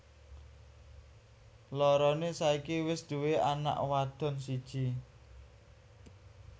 Loroné saiki wis duwé anak wadon siji